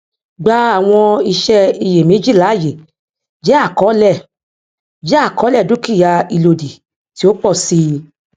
gbà àwọn ìṣe iyèméjì láàyè jẹ àkọọlẹ jẹ àkọọlẹ dúkìá ìlòdì tí ó pọ sí i